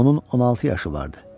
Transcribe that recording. Onun 16 yaşı vardı.